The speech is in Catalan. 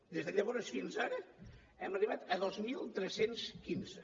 des de llavors fins ara hem arribat a dos mil tres cents i quinze